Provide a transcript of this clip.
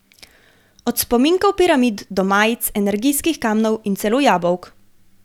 Od spominkov piramid do majic, energijskih kamnov in celo jabolk.